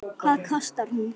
Hvað kostar hún?